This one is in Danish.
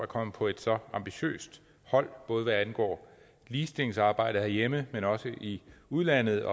kommet på et så ambitiøst hold både hvad angår ligestillingsarbejdet herhjemme men også i udlandet